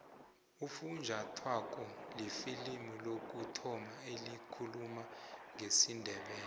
ufunjathwako lifilimu lokuthoma elikhuluma ngesindebele